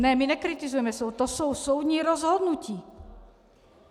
Ne, my nekritizujeme soud, to jsou soudní rozhodnutí.